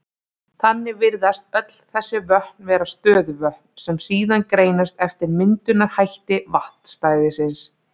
Þannig virðast öll þessi vötn vera stöðuvötn, sem síðan greinast eftir myndunarhætti vatnsstæðisins.